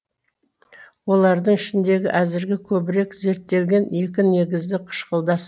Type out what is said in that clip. олардың ішіндегі әзіргі көбірек зерттелгені екі негізді қышқылдас